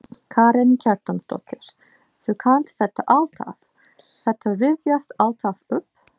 Karen Kjartansdóttir: Þú kannt þetta alltaf, þetta rifjast alltaf upp?